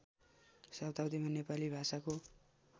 शताब्दीमा नेपाली भाषाको